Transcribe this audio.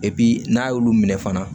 n'a y'olu minɛ fana